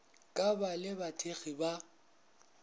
ka ba le bathekgi ba